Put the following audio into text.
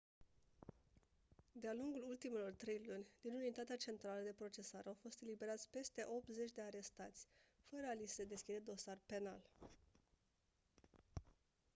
de-a lungul ultimelor trei luni din unitatea centrală de procesare au fost eliberați peste 80 de arestați fără a li se deschide dosar penal